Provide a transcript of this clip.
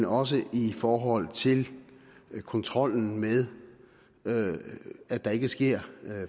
også i forhold til kontrollen med at der ikke sker